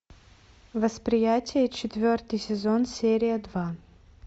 восприятие четвертый сезон серия два